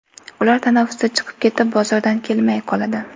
Ular tanaffusda chiqib ketib, bozordan kelmay qoladi.